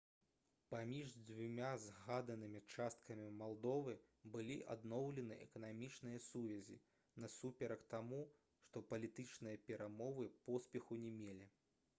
паміж дзвюма згаданымі часткамі малдовы былі адноўлены эканамічныя сувязі насуперак таму што палітычныя перамовы поспеху не мелі